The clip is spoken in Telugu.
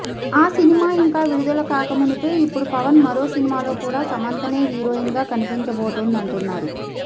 ఆ సినిమా ఇంకా విడుదల కాకమునుపే ఇప్పుడు పవన్ మరో సినిమాలో కూడా సమంతనే హీరోయిన్ గా కనిపించబోతోందంటున్నారు